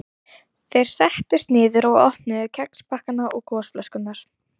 Þeir settust niður og opnuðu kexpakkana og gosflöskurnar.